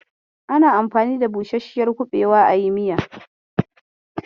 Ana anfani da busasshiyar kuɓewa ayi miya.